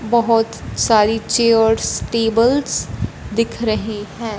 बहोत सारी chairs tables दिख रही है।